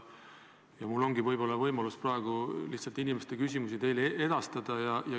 Mul ongi võimalus praegu edastada teile inimeste küsimusi.